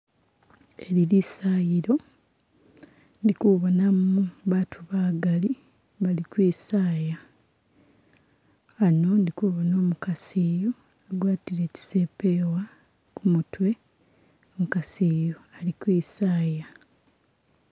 Eli lisayilo ndikubonamo baatu bagali bali kwisaaya , ano ndi kubona umukasi iyu agwatile tsi sepeewa kumutwe , umukasi iyu alikwisaaya.